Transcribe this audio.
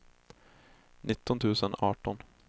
nitton tusen arton